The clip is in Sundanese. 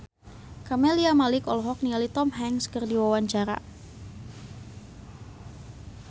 Camelia Malik olohok ningali Tom Hanks keur diwawancara